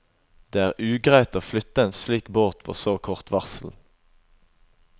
Det er ugreit å flytte en slik båt på så kort varsel.